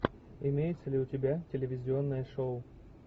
имеется ли у тебя телевизионное шоу